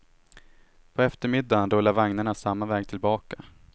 På eftermiddagen rullar vagnarna samma väg tillbaka.